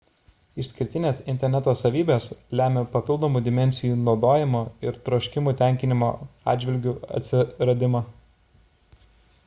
išskirtinės interneto savybės lemia papildomų dimensijų naudojimo ir troškimų tenkinimo atžvilgiu atsiradimą